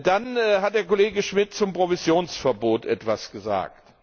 Dann hat der Kollege Schmitt zum Provisionsverbot etwas gesagt.